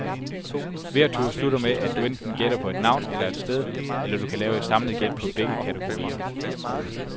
Hver tur slutter med, at du enten gætter på et navn eller et sted, eller du kan lave et samlet gæt på begge kategorier.